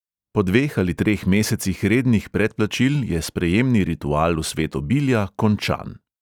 Po dveh ali treh mesecih rednih predplačil je sprejemni ritual v svet obilja končan.